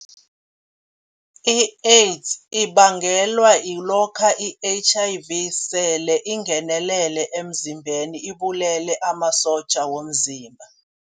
I-AIDS ibangelwa kulokha i-H_I_V sele ingenelele emzimbeni ibabulele amasotja womzimba.